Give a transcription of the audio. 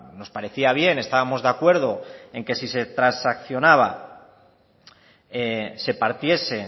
nos parecía bien estábamos de acuerdo en que si se transaccionaba se partiese